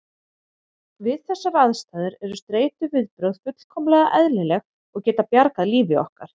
Við þessar aðstæður eru streituviðbrögð fullkomlega eðlileg og geta bjargað lífi okkar.